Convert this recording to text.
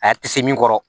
A tɛ se min kɔrɔ